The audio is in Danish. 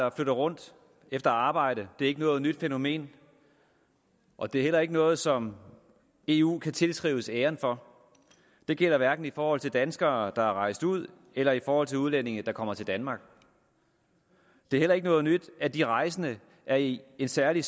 at flytte rundt efter arbejde er ikke noget nyt fænomen og det er heller ikke noget som eu kan tilskrives æren for det gælder hverken i forhold til danskere der er rejst ud eller i forhold til udlændinge der kommer til danmark det er heller ikke noget nyt at de rejsende er i en særlig